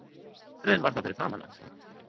Bifreiðin var þá fyrir framan hann